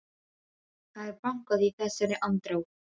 Það er bankað í þessari andrá.